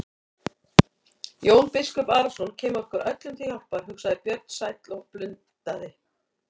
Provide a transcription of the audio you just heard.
Jón biskup Arason kemur okkur öllum til hjálpar, hugsaði Björn sæll og blundaði.